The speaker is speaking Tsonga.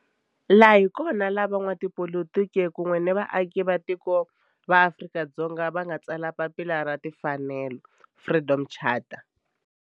Laha hi kona la van'watipolitiki kun'we ni vaaka tiko va Afrika-Dzonga va nga tsala papila ra timfanelo, Freedom Charter.